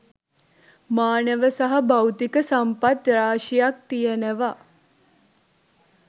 මානව සහ භෞතික සම්පත් රාශියක් තියෙනවා.